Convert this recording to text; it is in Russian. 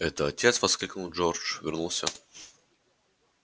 это отец воскликнул джордж вернулся